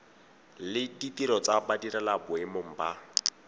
le ditiro tsa badirelaboemong ba